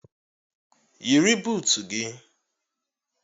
Yiri buutu gị!